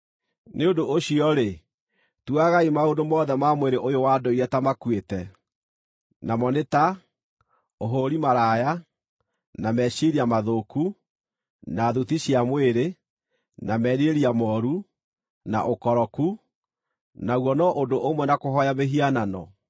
Nĩ ũndũ ũcio-rĩ, tuagai maũndũ mothe ma mwĩrĩ ũyũ wa ndũire ta makuĩte namo nĩ ta: ũhũũri-maraya, na meciiria mathũku, na thuti cia mwĩrĩ, na merirĩria mooru, na ũkoroku, naguo no ũndũ ũmwe na kũhooya mĩhianano.